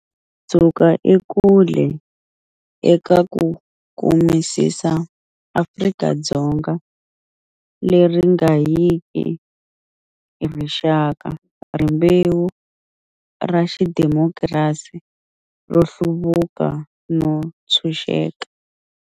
Hi suka ekule eka ku kumisisa Afrika-Dzonga leri nga yiki hi rixaka, rimbewu, ra xidimokirasi, ro hluvuka no ntshuxeka.